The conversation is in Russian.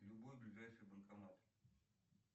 любой ближайший банкомат